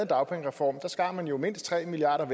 dagpengereform skar man jo mindst tre milliard